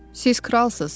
Siz kralsınız.